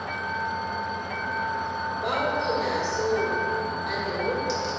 bago phela seo a lego